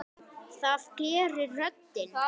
Það gerir röddin.